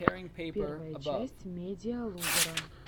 первая часть медиалузера